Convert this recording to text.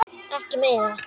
Ekki meira.